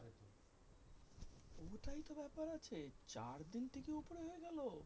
ওটাই তো ব্যাপার আছে চার দিন থেকে ওপরে হয়ে গেলো?